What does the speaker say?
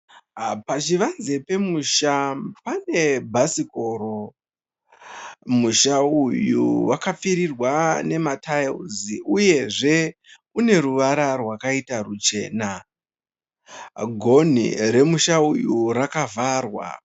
Pachivanze pemusha pane bhasikoro. Musha uyu wakapfirirwa nema tairisi uyezve une ruvara rwakaita ruchena. Gonhi remusha uyu rakavharwa.